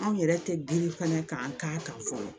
Anw yɛrɛ tɛ girin fana k'an k'a kan fɔlɔ